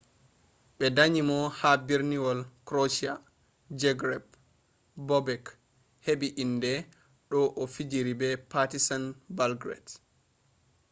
ɓe danyi mo ha berniwol krotia zagreb bobek heɓɓi inde de o fijini partisan belgrade